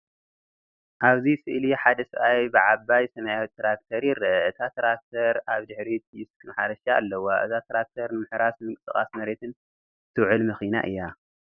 ኣብዚ ስእሊ ሓደ ሰብኣይ ብዓባይ ሰማያዊት ትራክተር ይርአ። እታ ትራክተር ኣብ ድሕሪት ዲስክ ማሕረሻ ኣለዋ። እዛ ትራክተር ንምሕራስ ንምንቅስቓስ መሬትን እትውዕል መኪና እያ።